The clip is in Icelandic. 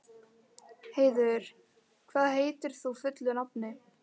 Heiður, hvað heitir þú fullu nafni?